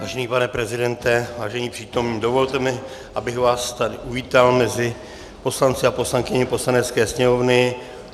Vážený pane prezidente, vážení přítomní, dovolte mi, abych vás tady uvítal mezi poslanci a poslankyněmi Poslanecké sněmovny.